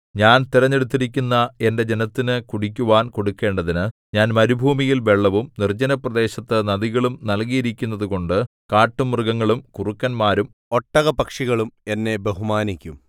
ഞാൻ തിരഞ്ഞെടുത്തിരിക്കുന്ന എന്റെ ജനത്തിനു കുടിക്കുവാൻ കൊടുക്കണ്ടതിന് ഞാൻ മരുഭൂമിയിൽ വെള്ളവും നിർജ്ജനപ്രദേശത്തു നദികളും നല്കിയിരിക്കുന്നതുകൊണ്ടു കാട്ടുമൃഗങ്ങളും കുറുക്കന്മാരും ഒട്ടകപ്പക്ഷികളും എന്നെ ബഹുമാനിക്കും